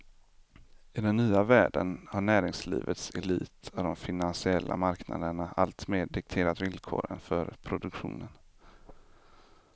I den nya världen har näringslivets elit och de finansiella marknaderna alltmer dikterat villkoren för produktionen.